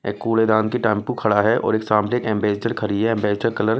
एक कूलेदान की टैंपू खड़ा है और एक सामने एकएंबेसडर खड़ी है एंबेसडर कलर --